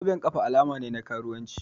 Zoben ƙafa alama ne na karuwanci